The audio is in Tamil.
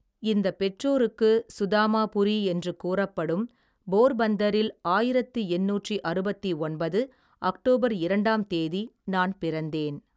இந்தப் பெற்றோருக்கு சுதாமாபுரி, என்று கூறப்படும், போர்பந்தரில், ஆயிரத்தி எண்ணூற்றி அறுவத்தி ஒன்பது, அக்டோபர் இரண்டாம் தேதி, நான் பிறந்தேன்.